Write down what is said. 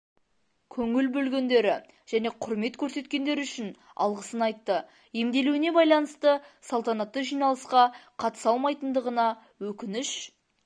көңіл бөлгендері және құрмет көрсеткендері үшін алғысын айтты емделуіне байланысты салтанатты жиналысқа қатыса алмайтындығына өкініш